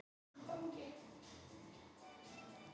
Hvaða áhrif hefur það á landsliðið okkar?